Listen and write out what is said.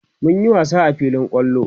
mun Yi wasa a filin kwallo